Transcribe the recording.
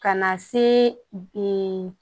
Ka na se